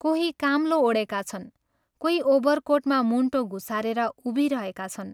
कोही काम्लो ओढेका छन्, कोही ओभर कोटमा मुण्टो घुसारेर उभिरहेका छन्।